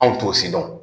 Anw t'o si dɔn